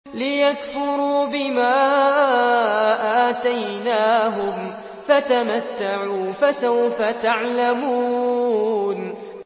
لِيَكْفُرُوا بِمَا آتَيْنَاهُمْ ۚ فَتَمَتَّعُوا فَسَوْفَ تَعْلَمُونَ